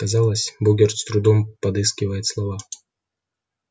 казалось богерт с трудом подыскивает слова